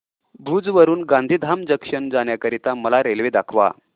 भुज वरून गांधीधाम जंक्शन जाण्या करीता मला रेल्वे दाखवा